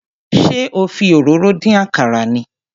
Ṣé o fi òróró dín àkàrà ni?